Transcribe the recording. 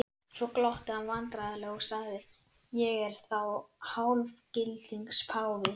Svo glotti hann vandræðalega og sagði: Ég er þá hálfgildings páfi?